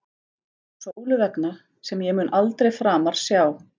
Sólu vegna, sem ég mun aldrei framar sjá.